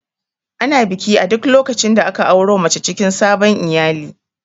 Ana biki a duk lokacin da aka auro mace cikin sabon iyali